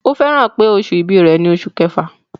Ó fẹ́ràn pé oṣù ìbí rẹ̀ ni oṣù kẹfà.